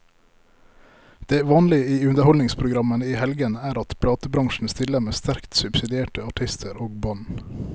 Det vanlige i underholdningsprogrammene i helgene er at platebransjen stiller med sterkt subsidierte artister og band.